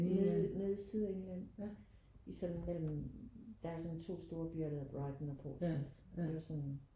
Nede nede i Sydengland i sådan mellem der er sådan 2 store byer Brighton og Portsmouth og det var sådan